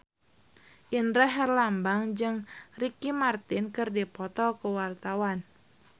Indra Herlambang jeung Ricky Martin keur dipoto ku wartawan